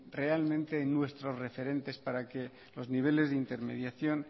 realmente en nuestros referentes para que los niveles de intermediación